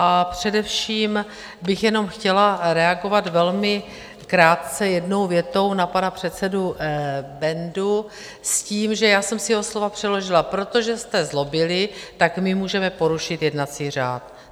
A především bych jenom chtěla reagovat velmi krátce jednou větou na pana předsedu Bendu s tím, že já jsem si jeho slova přeložila: protože jste zlobili, tak my můžeme porušit jednací řád.